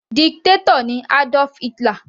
Dictator ni Adolf Hitler.